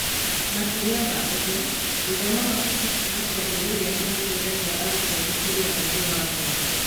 Makĩria ma ũguo, gũthoma mabuku kuuma kĩambĩrĩria nĩ gũteithagia arutwo gũkũria ũũgĩ wa ngoro